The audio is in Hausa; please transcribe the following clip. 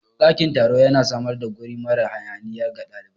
Ɗakin taro yana samar da guri mara hayaniya ga ɗalibai